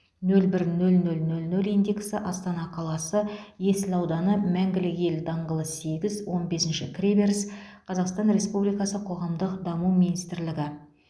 нөл бір нөл нөл нөл нөл индексі астана қаласы есіл ауданы мәңгілік ел даңғылы сегіз он бесінші кіреберіс қазақстан республикасы қоғамдық даму министрлігі